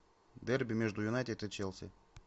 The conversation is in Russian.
дерби между юнайтед и челси